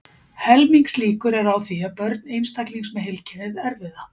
Helmingslíkur eru á því að börn einstaklings með heilkennið erfi það.